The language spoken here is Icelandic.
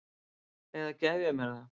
Eða ég gef mér það.